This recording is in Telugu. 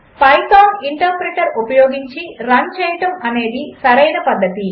పైథాన్ ఇంటర్ప్రెటర్ ఉపయోగించి రన్ చేయడము సరైన పద్ధతి